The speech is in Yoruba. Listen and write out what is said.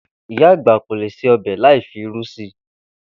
Ìyá àgbà kò lè se o̩bè̩ láì fi irú si